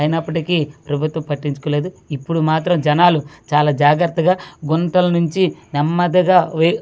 అయినప్పటికీ ప్రభుత్వం పట్టించుకో లేదు ఇప్పుడు మాత్రం జనాలు చాలా జాగ్రత్తగా గొంతుల్ని నుంచి నెమ్మదిగా వి--